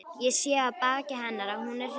Ég sé á baki hennar að hún er hrygg.